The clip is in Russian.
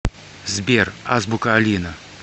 сбер азбука алина